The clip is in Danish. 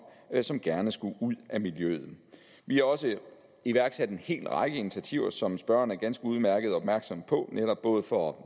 som gerne skulle ud af miljøet vi har også iværksat en hel række initiativer som spørgeren ganske udmærket er opmærksom på netop både for